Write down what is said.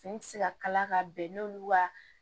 Fini ti se ka kala ka bɛn n'olu ka